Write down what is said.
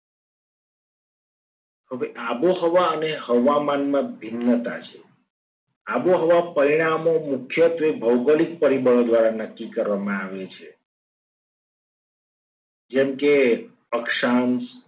હવે આબોહવા અને હવામાન માં ભિન્નતા છે. આબોહવા પરિણામો મુખ્યત્વે ભૌગોલિક પરિબળો દ્વારા નક્કી કરવામાં આવે છે. જેમ કે અક્ષાંશ,